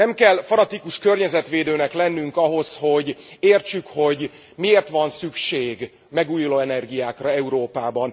Nem kell fanatikus környezetvédőnek lennünk ahhoz, hogy értsük, hogy miért van szükség megújuló energiákra Európában.